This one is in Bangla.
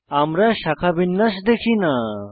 আমরা শাখাবিন্যাস দেখি না